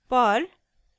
perl